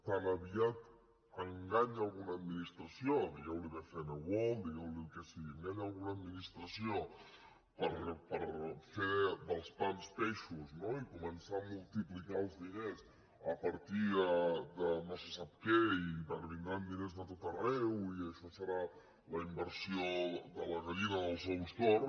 tan aviat enganya una administració digueu ne bcn world digueu ne el que sigui enganya una administració per fer dels pans peixos i començar a multiplicar els diners a partir de no se sap què i vindran diners de tot arreu i això serà la inversió de la gallina dels ous d’or